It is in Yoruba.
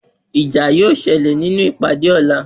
Ìjà yóó ṣẹlẹ̀ nínú ìpàdé ọ̀la.